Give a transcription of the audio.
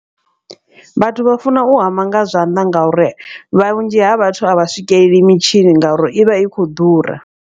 Vhathu vha funa u hama nga zwanḓa ngauri vhunzhi ha vhathu a vha swikeleli mitshini ngauri i vha i khou ḓura.